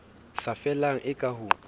sa fellang e ka ho